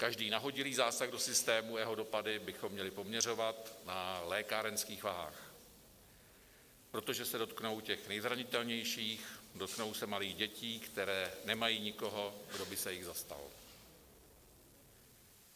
Každý nahodilý zásah do systému a jeho dopady bychom měli poměřovat na lékárenských vahách, protože se dotknou těch nejzranitelnějších, dotknou se malých dětí, které nemají nikoho, kdo by se jich zastal.